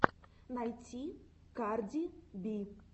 найти карди би